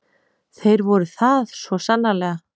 Þeir eru það, svo sannarlega.